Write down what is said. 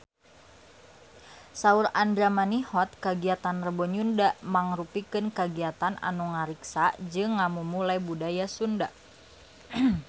Saur Andra Manihot kagiatan Rebo Nyunda mangrupikeun kagiatan anu ngariksa jeung ngamumule budaya Sunda